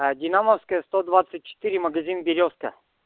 динамовская сто двадцать четыре магазин берёзка